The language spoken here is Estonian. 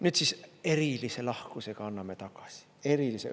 Nüüd siis erilise lahkusega anname tagasi – erilisega.